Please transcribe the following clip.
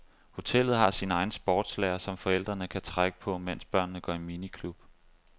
Hotellet har sin egen sportslærer, som forældrene kan trække på, mens børnene går i miniklub.